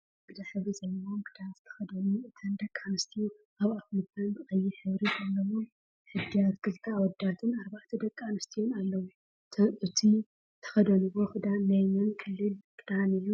ፃዕዳ ሕብሪ ዘለዎ ክዳን ዝተከደኑ እተን ደቂ ኣንስትዮ ኣብ ኣፍ ልበን ብቀይሕ ሕብሪ ዘለዎ እድያትክልተ ኣወዳትን ኣርባዕተ ደቂ ኣንስትዮ ኣለው። እቱይ ዝተከደንዎ ክዳን ናይ መን ክልል ክዳን እዩ?